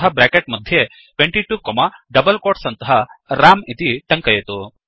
अतः ब्रेकेट् मध्ये 22 comma double quotes अन्तः रं इति टङ्कयतु